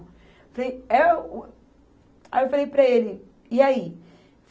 Aí eu falei é o, aí eu falei para ele, e aí?